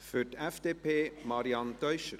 Für die FDP Marianne Teuscher.